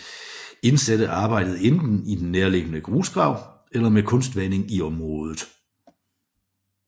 Indsatte arbejdede enten i den nærliggende grusgrav eller med kunstvanding i området